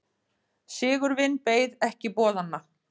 Sigurvin beið ekki boðanna.